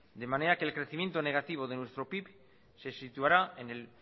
de manera que el crecimiento negativo de nuestro pib se situará en el